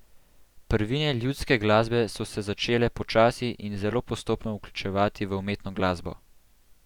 Prvine ljudske glasbe so se začele počasi in zelo postopno vključevati v umetno glasbo.